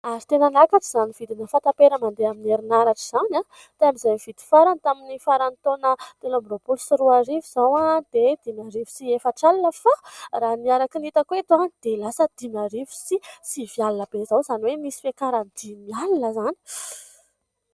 Ary tena niakatra izany vidina fatapera mandeha amin'ny herinaratra izany ! Tamin'izahay nividy farany tamin'ny faran'ny taona telo amby roapolo sy roa arivo izao dia dimy arivo sy efatra alina, fa raha ny araky ny hitako eto dia lasa dimy arivo sy sivy alina be izao. Izany hoe misy fiakarany dimy alina izany !